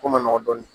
Ko man nɔgɔn dɔɔnin